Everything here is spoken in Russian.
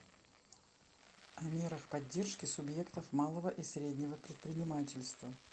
о мерах поддержки субъектов малого и среднего предпринимательства